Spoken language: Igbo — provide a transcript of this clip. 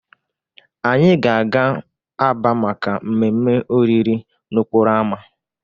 Anyị ga-aga Aba maka mmemme oriri n'okporo ámá.